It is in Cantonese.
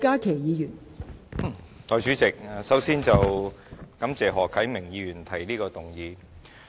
代理主席，首先，我感謝何啟明議員提出這項議案。